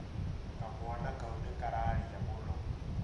Kamwana kau nĩ kararĩa mũno